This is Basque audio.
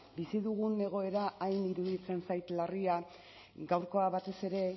bizi dugun egoera hain iruditzen zait larria gaurkoa batez ere